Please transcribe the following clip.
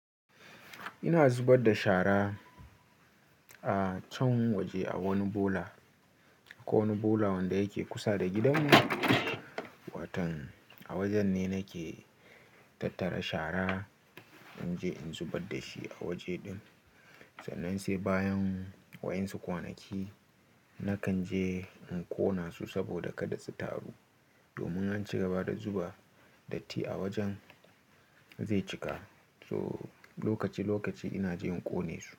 Ina zubar da shara a can waje a wani bola, akwai wani bola wanda yake kusa da gidanmu. Watan a wajen ne nake tattara shara in je in zubar da shi a waje din. Sannan sai bayan wayinsu kwanaki nakan je in ƙona su saboda kada su taru. Domin an cigaba da zuba datti a wajen zai cika. So lokaci lokaci ina je in ƙone su.